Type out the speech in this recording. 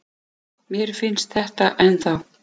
Mér finnst þetta ennþá.